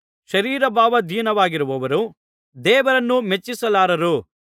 ಶರೀರಭಾವಾಧೀನವಾಗಿರುವವರು ದೇವರನ್ನು ಮೆಚ್ಚಿಸಲಾರರು